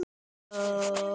Vigdís amma og afi Gestur.